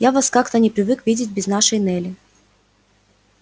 я вас как-то не привык видеть без нашей нелли